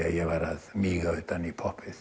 að ég væri að míga utan í